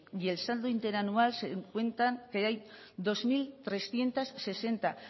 y el saldo interanual se cuentan que hay dos mil trescientos sesenta